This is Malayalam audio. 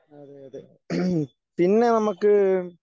അതെ അതെ ഉം പിന്നെ നമുക്ക്.